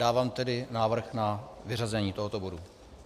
Dávám tedy návrh na vyřazení tohoto bodu.